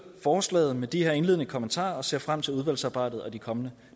vi forslaget med de her indledende kommentarer og ser frem til udvalgsarbejdet og de kommende